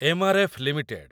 MRF. Limited